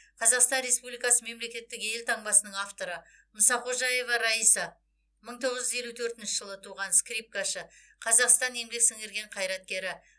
қазақстан республикасы мемлекеттік елтаңбасының авторы мұсақожаева райса мың тоғыз жүз елу төртінші жылы туған скрипкашы қазақстанның еңбек сіңірген қайраткері